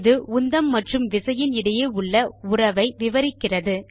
இது உந்தம் மற்றும் விசையின் இடையே உள்ள உறவை விவரிக்கிறது